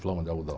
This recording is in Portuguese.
Flama de algodão.